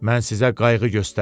Mən sizə qayğı göstərərəm.